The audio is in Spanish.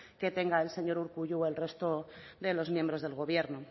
que tenga el señor urkullu o el resto de miembros del gobierno